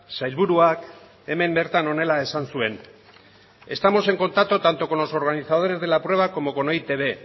sailburuak hemen bertan honela esan zuen estamos en contacto tanto con los organizadores de la prueba como con e i te be